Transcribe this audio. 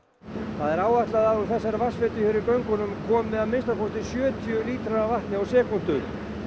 það er áætlað að úr þessari vatnsveitu hér í göngunum komi að minnsta kosti sjötíu lítrar af vatni á sekúndu